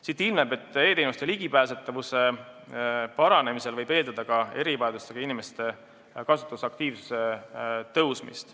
Siit ilmneb, et e-teenuste ligipääsetavuse paranemise korral võib eeldada ka erivajadustega inimeste kasutusaktiivsuse tõusmist.